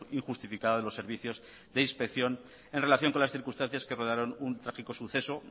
injustificada de los servicios de inspección en relación con las circunstancias que rodearon un trágico suceso